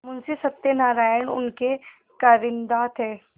मुंशी सत्यनारायण उनके कारिंदा थे